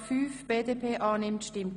Helfen Sie mit?